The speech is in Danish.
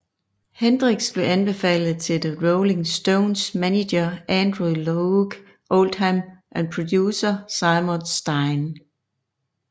Hendrix blev anbefalet til The Rolling Stones manager Andrew Loog Oldham og producer Seymour Stein